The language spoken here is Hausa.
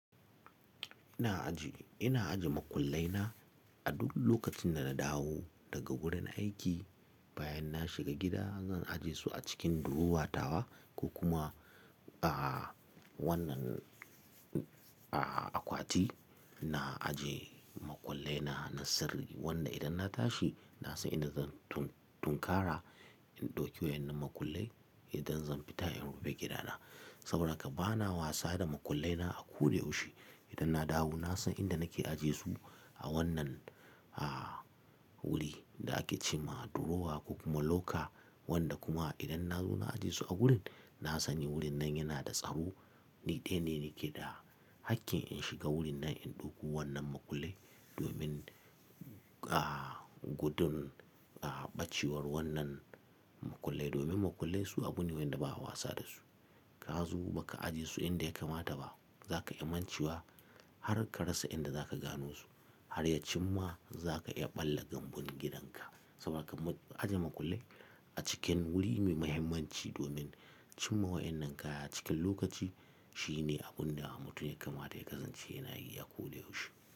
Ina ajiye makullai na a duk lokacin da na dawo daga wurin aiki bayan na shiga gida. Zan ajiye su a cikin durowa tawa ko kuma a wannan akwati. Na ajiye makullai na na sirri wanda idan na tashi na san inda zan tunkara in ɗauki waɗannan makullai idan zan fita in rufe gidana. Saboda haka bana wasa da makullai na a ko da yaushe. Idan na dawo na san inda nake ajiyesu a wannan wuri da ake ce ma durowa ko kuma loka wanda kuma idan na zo na ajiyesu a wurin, na sani wurin nan yana da tsaro. Ni dai ne nake da hakkin in shiga wurin nan in ɗauko wannan makullai domin gudun ɓacewar wannan makullai. Domin makullai su abune wanda ba'a wasa dasu. Ka zo ba ka ajiyesu inda ya kamata ba za ka yi mantuwa har ka rasa inda za ka gano su har ya cim ma za ka iya ɓalla kambun gidanka. Saboda haka ajiye makullai a cikin wuri mai mahimmanci domin cimma waɗannan kaya a cikin lokaci shine abun da mutum ya kamata ya kasance yana yi a ko da yaushe.